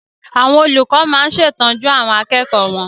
Àwọn olùkọ máa ń ṣètọ́jú àwọn akẹ́kọ̀ọ́ wọn.